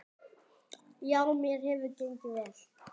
Já, mér hefur gengið vel.